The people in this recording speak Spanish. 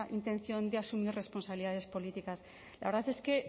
intención de asumir responsabilidades políticas la verdad es que